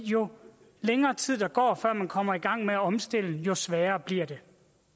jo længere tid der går før man kommer i gang med omstillingen jo sværere bliver det